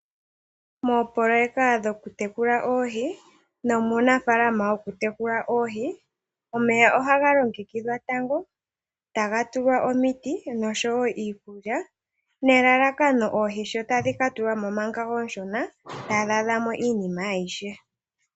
Moopololeka dhokutekula oohi nomuunafaalama wokutekula oohi, omeya oha ga longekidhwa tango taga tulwa omiti nosho wo iikulya, nelalakano oohi tadhi ka tulwa mo omanga ooshona tadhi adha mo iinima ayihe.